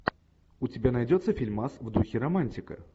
у тебя найдется фильмас в духе романтика